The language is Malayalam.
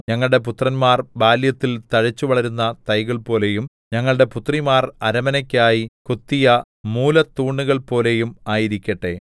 ഞങ്ങളുടെ പുത്രന്മാർ ബാല്യത്തിൽ തഴച്ചുവളരുന്ന തൈകൾപോലെയും ഞങ്ങളുടെ പുത്രിമാർ അരമനയ്ക്കായി കൊത്തിയ മൂലത്തൂണുകൾപോലെയും ആയിരിക്കട്ടെ